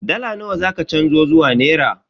Dala nawa za ki canzo zuwa naira?